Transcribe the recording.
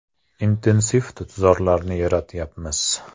Intensiv tutzorlarni yaratyapmiz.